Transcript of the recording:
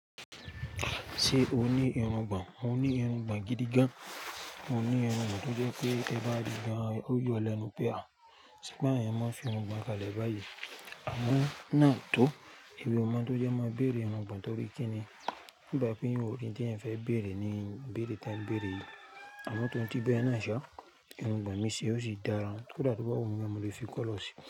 Ṣé o ní irungbọ̀n? Mo ní irungbọ̀n gidi gan. Mo ní irungbọ̀n tó jẹ pé ẹ bá rí i gan, ó yọ lẹnu pé àh. Ṣé bá yẹn mọ́ fi irungbọ̀n kalẹ̀ báyìí? Àmọ́ náà tó, èmi ò mọ tó jẹ́ máa béèrè irungbọ̀n tó bí kíni. Nígbà bi pé èèyàn o rí tí èèyàn fẹ́ béèrè ni béèrè tẹn, béèrè yìí. Àmọ́ tó ń ti bẹ́ náà ṣá, irungbọ̀n mi ṣí e ó sì dára. Kódà tó bá wun mi, mo lè fi colour si.